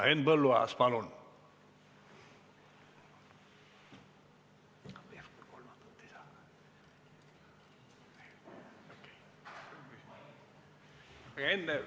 Henn Põlluaas, palun!